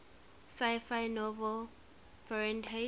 sci fi novel fahrenheit